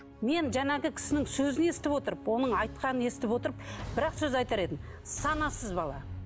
мен жаңағы кісінің сөзін естіп отырып оның айтқанын естіп отырып бір ақ сөз айтар едім санасыз бала